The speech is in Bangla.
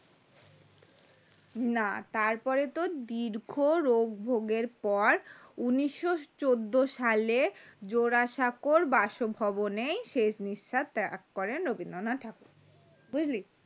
না তারপরে তোর দীর্ঘ রোগ ভোগ এর পর উনিশো চোদ্দ সালে জোড়াসাঁকো বাসভবনেই শেষ নিঃস্বাস ত্যাগ করেন রবীন্দ্রনাথ ঠাকুর